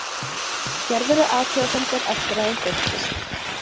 Gerðirðu athugasemdir eftir að hún birtist?